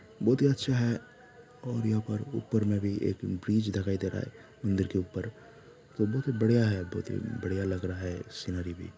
बहुत ही अच्छा है और यहाँ पर ऊपर में भी एक ब्रिज देखाई दे रहा है मंदिर के ऊपर बहुत बढ़िया है बहुत ही बढ़िया लग रहा है सीनरी भी --